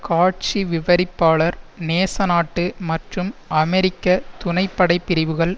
காட்சி விவரிப்பாளர் நேசநாட்டு மற்றும் அமெரிக்க துணைப்படைப் பிரிவுகள்